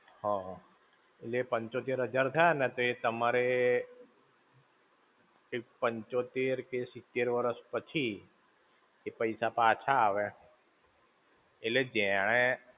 હા, હા. એટલે એ પંચોતેર હજાર થયા ને એ તમારે એ પંચોતેર કે સિત્તેર વરસ પછી, એ પૈસા પાછા આવે, એટલે જેણે.